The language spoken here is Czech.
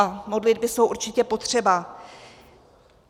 A modlitby jsou určitě potřeba.